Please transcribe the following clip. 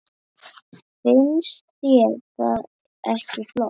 Finnst þér það ekki flott?